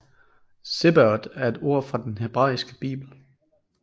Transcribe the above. Zebaot er et ord fra den hebraiske bibel